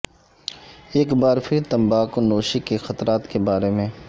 ایک بار پھر تمباکو نوشی کے خطرات کے بارے میں